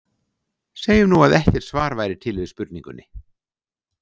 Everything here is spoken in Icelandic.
Segjum nú, að ekkert svar væri til við spurningunni.